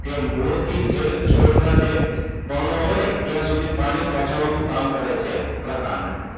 તે મૂળથી છોડના જે પર્ણો હોય ત્યાં સુધી પાણી પહોંચાડવાની કામ કરે છે પ્રકાંડ.